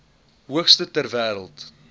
hoogste ter wêreld